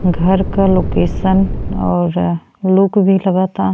घर का लोकेशन और लुक भी लगता।